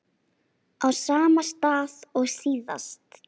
Á sama stað og síðast.